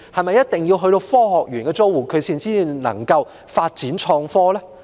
難道只有科學園的租戶才可以發展創科？